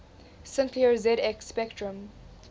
sinclair zx spectrum